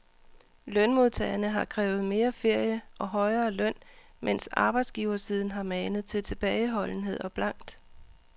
Lønmodtagerne har krævet mere ferie og højere løn, mens arbejdsgiversiden har manet til tilbageholdenhed og blankt